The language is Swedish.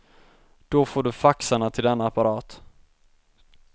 Då får du faxarna till denna apparat.